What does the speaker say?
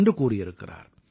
என்று கூறியிருக்கிறார்